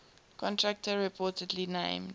contractor reportedly named